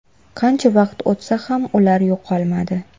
Qancha vaqt o‘tsa ham ular yo‘qolmadi.